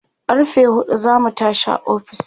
sai karfe huɗu zamu tashi a ofis